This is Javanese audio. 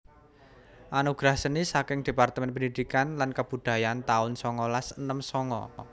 Anugerah Seni saking Departemen Pendidikan lan Kebudayaan taun songolas enem songo